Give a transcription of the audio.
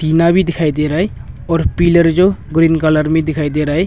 जीना भी दिखाई दे रहा है और पिलर जो ग्रीन कलर में दिखाई दे रहा है।